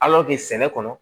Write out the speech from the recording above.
sɛnɛ kɔnɔ